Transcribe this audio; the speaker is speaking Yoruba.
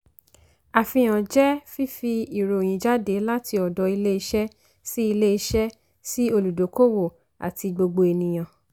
àfihàn jẹ́ fífi ìròyìn jáde láti ọ̀dọ̀ ilé iṣẹ́ sí ilé iṣẹ́ sí olùdókòwò àti gbogbo ènìyàn.